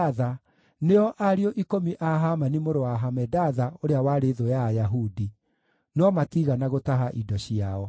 na nĩo ariũ ikũmi a Hamani mũrũ wa Hamedatha, ũrĩa warĩ thũ ya Ayahudi. No matiigana gũtaha indo ciao.